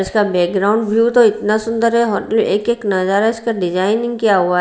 इसका background view तो इतना सुंदर है होटल एक एक नजारा इसका डिजाइनिंग किया हुआ है।